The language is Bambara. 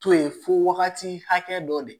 To ye fo wagati hakɛ dɔ de